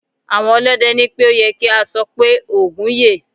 Àwọn ọlọ́dẹ ní pé ó ye kí a sọ pé "Ògún yè".